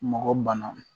Mɔgɔ bana